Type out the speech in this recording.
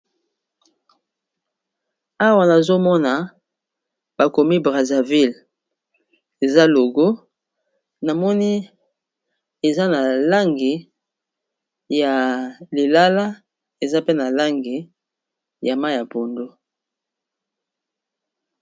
Awa nazomona bakomi braserville eza logo na moni eza na langi ya lilala, eza pe na langi ya ma ya pondo.